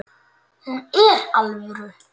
Hún er alvöru.